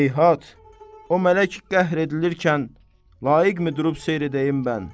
Heyhat, o mələk qəhr edilirkən, layiqmi durub seyr edəyim mən.